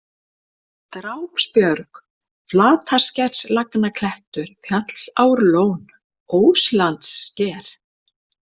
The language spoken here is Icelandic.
Drápsbjörg, Flataskerslagnaklettur, Fjallsárlón, Óslandssker